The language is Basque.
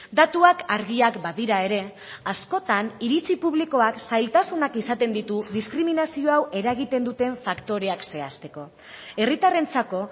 datuak argiak badira ere askotan iritzi publikoak zailtasunak izaten ditu diskriminazio hau eragiten duten faktoreak zehazteko herritarrentzako